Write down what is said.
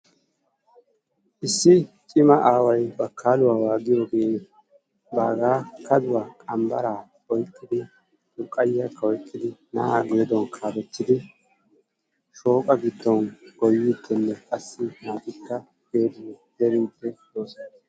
Issi cima Aaway bakaluwa aawa giyoge baaga kaduwa qanbbara oyqqidi xurqayiyaka oyqqidi na'aa geeduwan kalettidi shoqqa giddon goyidinne qassi naatikka zeeridi de'oosona.